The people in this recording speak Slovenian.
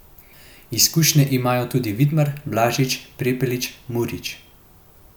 Izkušnje imajo tudi Vidmar, Blažič, Prepelić, Murić ...